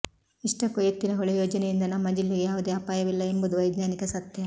ಇಷ್ಟಕ್ಕೂ ಎತ್ತಿನಹೊಳೆ ಯೋಜನೆಯಿಂದ ನಮ್ಮ ಜಿಲ್ಲೆಗೆ ಯಾವುದೇ ಅಪಾಯವಿಲ್ಲ ಎಂಬುದು ವೈಜ್ಞಾನಿಕ ಸತ್ಯ